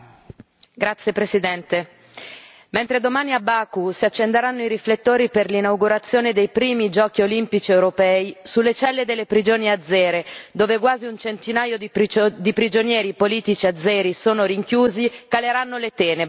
Signor Presidente, onorevoli colleghi, mentre domani a Baku si accenderanno i riflettori per l'inaugurazione dei primi giochi olimpici europei, sulle celle delle prigioni azere, dove quasi un centinaio di prigionieri politici azeri sono rinchiusi, caleranno le tenebre.